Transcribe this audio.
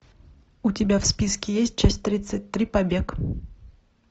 у тебя в списке есть часть тридцать три побег